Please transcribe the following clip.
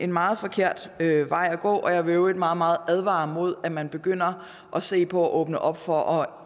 meget forkert vej at gå og jeg vil i øvrigt meget meget advare imod at man begynder at se på at åbne op for at